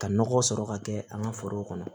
Ka nɔgɔ sɔrɔ ka kɛ an ka foro kɔnɔ